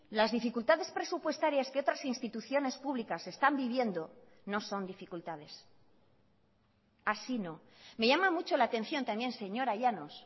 las dificultades presupuestarias que otras instituciones públicas están viviendo no son dificultades así no me llama mucho la atención también señora llanos